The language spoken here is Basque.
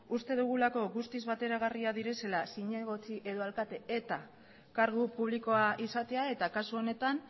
uste dugulako guztiz bateragarriak direla zinegotzi edo alkate eta kargu publikoa izatea eta kasu honetan